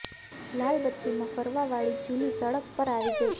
લાલ બત્તીમાં ફરવા વાળી જૂલી સડક પર આવી ગઈ